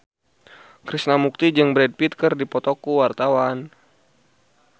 Krishna Mukti jeung Brad Pitt keur dipoto ku wartawan